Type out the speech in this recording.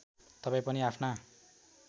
तपाईँ पनि आफ्ना